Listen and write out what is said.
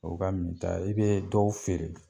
O ka minta e bee dɔw feere.